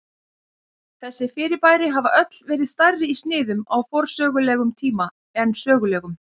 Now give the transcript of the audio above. þessi fyrirbæri hafa öll verið stærri í sniðum á forsögulegum tíma en sögulegum